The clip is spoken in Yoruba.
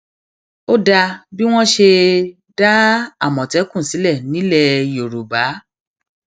ó um dáa bí wọn ṣe um dá àmọtẹkùn sílẹ nílẹ yorùbá